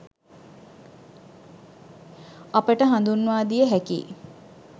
අපට හඳුන්වා දිය හැකියි.